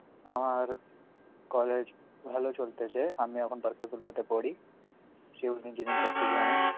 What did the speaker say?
আমার college ভালো চলতেছে, আমি এখন বারকাতুল্লাহ তে পড়ি, civil engineering করতেছি আমি.